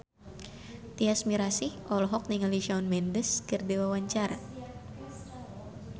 Tyas Mirasih olohok ningali Shawn Mendes keur diwawancara